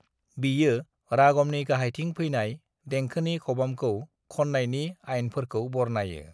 बियो रागमनि गाहायथिं फैनाय देंखोनि खबामखौ खननायनि आइनफोरखौ बरनायो।